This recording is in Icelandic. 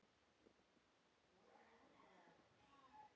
Já Hvað gladdi þig mest?